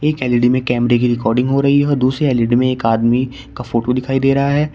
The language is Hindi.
एक एल_ई_डी में कैमरे की रिकॉर्डिंग हो रही है दूसरी एल_ई_डी में एक आदमी का फोटो दिखाई दे रहा है।